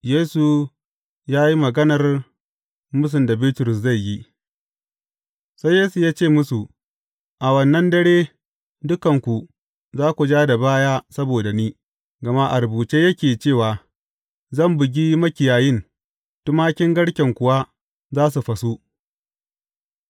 Yesu ya yi maganar mūsun da Bitrus zai yi Sai Yesu ya ce musu, A wannan dare, dukanku za ku ja da baya saboda ni, gama a rubuce yake cewa, Zan bugi makiyayin, tumakin garken kuwa za su fasu.’